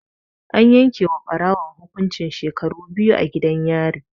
An yake wa Ɓarawon hukuncin shekaru biyu gidan yari